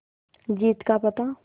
जीत का पता